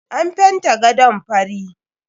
An fenta gadon fari.